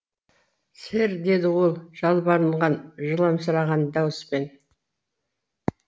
сэр деді ол жалбарынған жыламсыраған дауыспен